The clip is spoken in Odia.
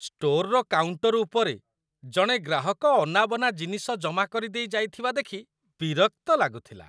ଷ୍ଟୋରର କାଉଣ୍ଟର ଉପରେ ଜଣେ ଗ୍ରାହକ ଅନାବନା ଜିନିଷ ଜମା କରିଦେଇ ଯାଇଥିବା ଦେଖି ବିରକ୍ତ ଲାଗୁଥିଲା।